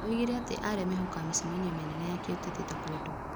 Oigire atĩ arĩa mehokaga mĩcemanio mĩnene ya kĩũteti ta kwendwo ,